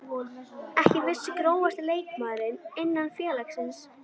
Ekki viss Grófasti leikmaður innan félagsins?